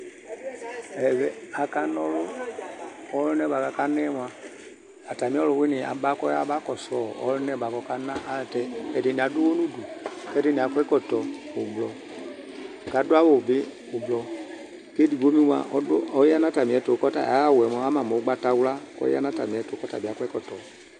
Ɛvɛ, akana ɔlʋ kʋ ɔlʋna yɛ bʋa kʋ akana yɛ mʋa, atamɩ ɔlʋwɩnɩ yɛ aba kɔyaba kɔsʋ ɔ ɔlʋna yɛ bʋa kʋ ɔkana ayɛlʋtɛ, ɛdɩnɩ adʋ ʋɣɔ nʋ udu kʋ ɛdɩnɩ akɔ ɛkɔtɔ ʋblɔ kʋ adʋ awʋ bɩ ʋblɔ kʋ edigbo bɩ mʋa, ɔdʋ ɔya nʋ atamɩɛtʋ kʋ ɔta ayʋ awʋ yɛ mʋa, ama mʋ ʋgbatawla kʋ ɔya nʋ atamɩɛtʋ kʋ ɔta bɩ akɔ ɛkɔtɔ